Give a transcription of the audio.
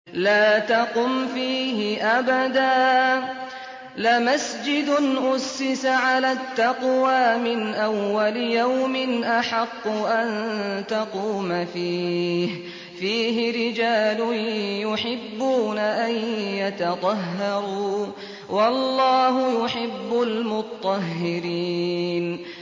لَا تَقُمْ فِيهِ أَبَدًا ۚ لَّمَسْجِدٌ أُسِّسَ عَلَى التَّقْوَىٰ مِنْ أَوَّلِ يَوْمٍ أَحَقُّ أَن تَقُومَ فِيهِ ۚ فِيهِ رِجَالٌ يُحِبُّونَ أَن يَتَطَهَّرُوا ۚ وَاللَّهُ يُحِبُّ الْمُطَّهِّرِينَ